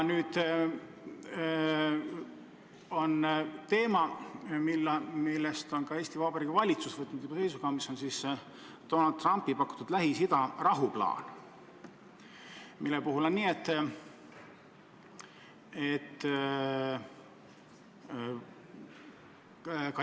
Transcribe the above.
Nüüd on üleval teema, mille puhul Eesti Vabariigi valitsus on võtnud juba seisukoha: see on Donald Trumpi pakutud Lähis-Ida rahuplaan.